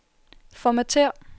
formatér